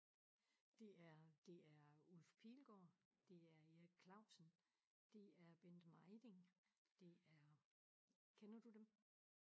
Det er det er Ulf Pilgaard, det er Erik Clausen det er Bent Mejding det er kender du dem?